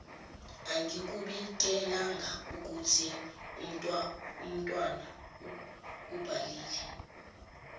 angikubikelangaukuthi umtwana ubhalile